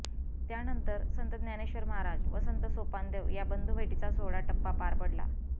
त्यानंर संत ज्ञानेश्वर महाराज व संत सोपानदेव या बंधू भेटीचा सोहळा टप्पा पार पडला